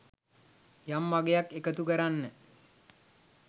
යම් අගයක් එකතු කරන්න